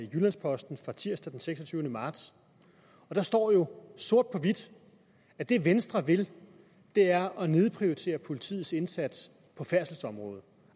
jyllands posten tirsdag den seksogtyvende marts og der stod jo sort på hvidt at det venstre vil er at nedprioritere politiets indsats på færdselsområdet